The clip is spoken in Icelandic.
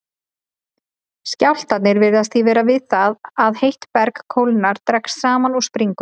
Skjálftarnir virðast því verða við það að heitt berg kólnar, dregst saman og springur.